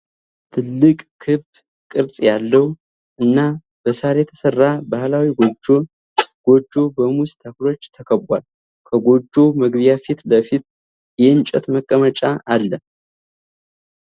ትልቅ፣ ክብ ቅርጽ ያለው እና በሳር የተሠራ ባህላዊ ጎጆ። ጎጆው በሙዝ ተክሎች ተከቧል፤ ከጎጆው መግቢያ ፊት ለፊት የእንጨት መቀመጫ አለ።